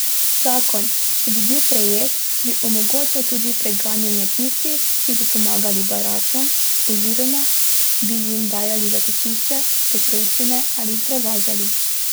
Zakon, če bi bil prejet, bi omogočil tudi preganjanje tistih, ki bi pomagali beračem oziroma bi jim dajali zatočišče, potrebščine ali jih prevažali.